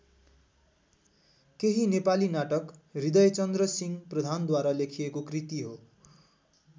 केही नेपाली नाटक हृदयचन्द्रसिंह प्रधानद्वारा लेखिएको कृति हो।